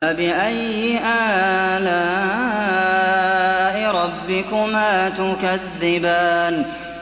فَبِأَيِّ آلَاءِ رَبِّكُمَا تُكَذِّبَانِ